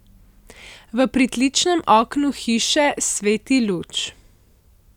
V pritličnem oknu hiše sveti luč.